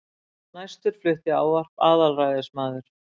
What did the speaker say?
Næstur flutti ávarp aðalræðismaður